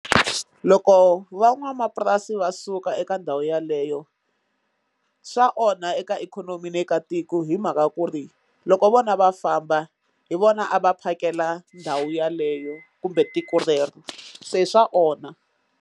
Loko van'wamapurasi va suka eka ndhawu yeleyo swa onha eka ikhonomi ni eka tiko hi mhaka ku ri loko vona va famba hi vona a va phakela ndhawu yeleyo kumbe tiko rero se swa onha.